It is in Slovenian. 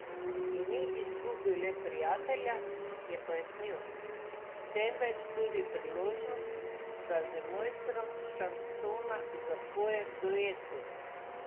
In ni izgubil le prijatelja, je pojasnil, temveč tudi priložnost, da z mojstrom šansona zapoje v duetu.